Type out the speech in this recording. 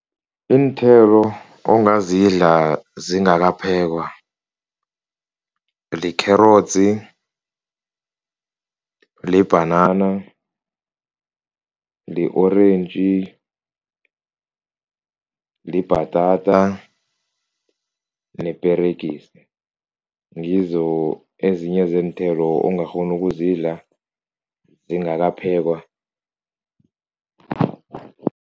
Iinthelo ongazidla zingakaphekwa likherotsi, libhanana, li-orentji, libhatata neperegisi, ngizo ezinye zeenthelo ongakghona ukuzidla zingakaphekwa.